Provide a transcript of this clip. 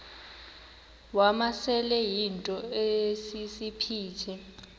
wamasele yinto esisiphithi